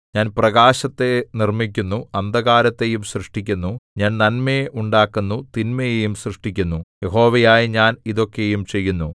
ഞാൻ പ്രകാശത്തെ നിർമ്മിക്കുന്നു അന്ധകാരത്തെയും സൃഷ്ടിക്കുന്നു ഞാൻ നന്മയെ ഉണ്ടാക്കുന്നു തിന്മയെയും സൃഷ്ടിക്കുന്നു യഹോവയായ ഞാൻ ഇതൊക്കെയും ചെയ്യുന്നു